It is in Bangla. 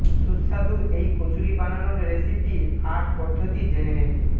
সুস্বাদু এই কচুরি বানানোর রেসিপি আর পদ্ধতি জেনে নিন